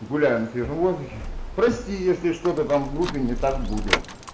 гуляю на свежем воздухе прости если что-то там в группе не так будет